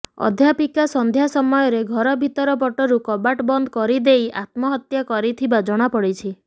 ଅଧ୍ୟାପିକା ସନ୍ଧ୍ୟା ସମୟରେ ଘର ଭିତର ପଟରୁ କବାଟ ବନ୍ଦ କରିଦେଇ ଆତ୍ମହତ୍ୟା କରିଥିବା ଜଣାପଡିଛି